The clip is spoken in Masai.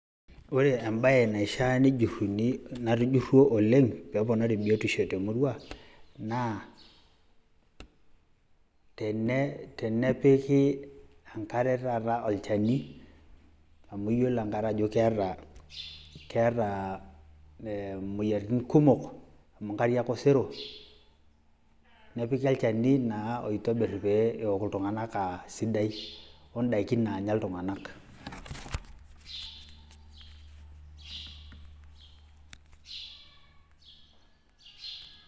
ore embae naishiaa nejuruni natujuruo oleng peponari biotisho oleng te murrua naa tene tenepiki enkare taata olchani amu iyiolo enkare ajo keeta keeta imoyiaritin kumok amu nkariak osero, nepiki olchani naa oitobir peok iltunganak aa sidai naanya iltunganak .